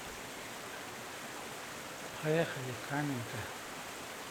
поехали каменка